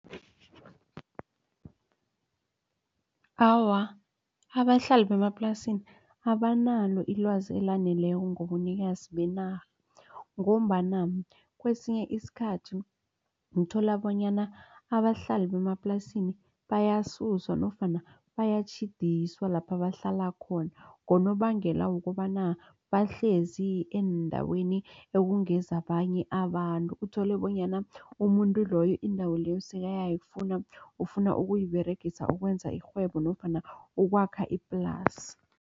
Awa, abahlali bemaplasini abanalo ilwazi elaneleko ngobunikazi benarha. Ngombana kwesinye isikhathi uthola bonyana abahlali bemaplasini bayasuswa nofana bayatjhidiswa lapha bahlala khona. Ngonobangela wokobana bahlezi eendaweni okungezabanye abantu. Uthole bonyana umuntu loyo indawo leyo sekayayifuna ufuna ukuyiberegisa ukwenza irhwebo nofana ukwakha iplasi.